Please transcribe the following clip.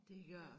Det gør det